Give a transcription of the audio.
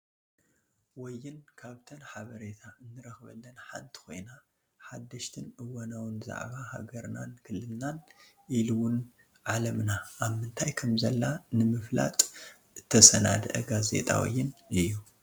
ወይን ካብተን ሓበሬታ እንረክበለን ሓንቲ ኮይና ሓደሽትን አዋናውን ዛዕባ ሃገርናን ክልልናን ኢልውን ዓለምና አብ ምንታይ ከም ዘላ ንምፍላጥ እተሰናድእ ጋዜጣ ወይን አዩ ።